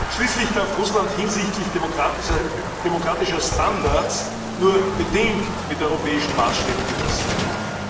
Schließlich darf Russland hinsichtlich demokratischer Standards nur bedingt mit europäischen Maßstäben gemessen werden.